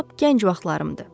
Lap gənc vaxtlarımdı.